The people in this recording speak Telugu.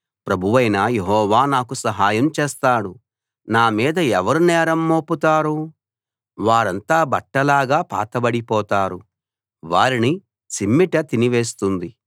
ప్రభువైన యెహోవా నాకు సహాయం చేస్తాడు నా మీద ఎవరు నేరం మోపుతారు వారంతా బట్టలాగా పాతబడిపోతారు వారిని చిమ్మెట తినివేస్తుంది